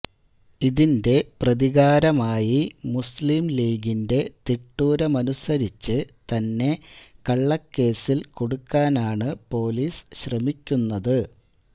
ഇതിന്റെ പ്രതികാരമായി മുസ്ലിംലീഗിന്റെ തിട്ടൂരമനുസരിച്ച് തന്നെ കള്ളക്കേസില് കുടുക്കാനാണ് പോലീസ് ശ്രമിക്കുന്നത്